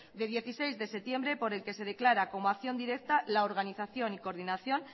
de dieciséis de septiembre por el que se declara como acción directa la organización y coordinación